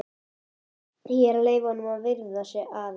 Ég er að leyfa honum að viðra sig aðeins.